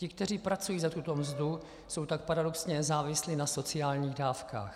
Ti, kteří pracují za tuto mzdu, jsou tak paradoxně závislí na sociálních dávkách.